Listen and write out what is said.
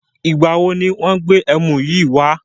Ìgbàwo ni wọn gbé ẹmu yìí wá?